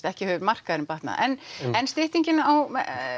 ekki hefur markaðurinn batnað en en styttingin á